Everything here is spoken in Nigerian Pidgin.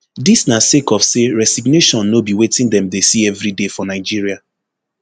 dis na sake of say resignation no be wetin dem dey see evriday for nigeria